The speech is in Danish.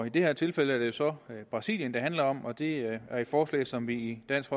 i det her tilfælde er det jo så brasilien det handler om og det er et forslag som vi i dansk